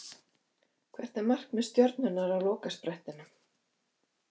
Hvert er markmið Stjörnunnar á lokasprettinum?